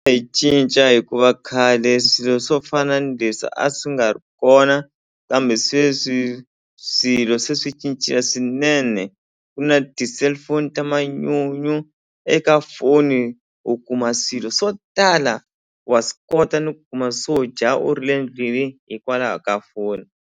cinca hikuva khale swilo swo fana ni leswi a swi nga ri kona kambe sweswi swilo se swi cincile swinene ku na ti-cellphone ta manyunyu eka foni u kuma swilo swo tala wa swi kota ni ku kuma swo dya u ri le ndlwini hikwalaho ka foni.